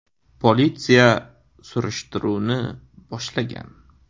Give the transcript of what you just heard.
Politsiya surishtiruvni boshlagan.